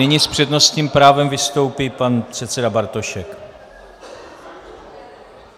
Nyní s přednostním právem vystoupí pan předseda Bartošek.